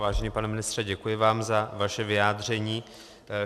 Vážený pane ministře, děkuji vám za vaše vyjádření.